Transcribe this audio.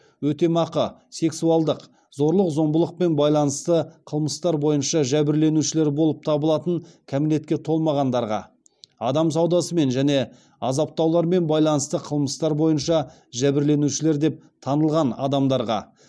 өтемақы сексуалдық зорлық зомбылықпен байланысты қылмыстар бойынша жәбірленушілер болып табылатын кәмелетке толмағандарға адам саудасымен және азаптаулармен байланысты қылмыстар бойынша жәбірленушілер деп танылған адамдарға